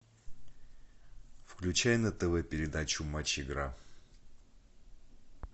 включай на тв передачу матч игра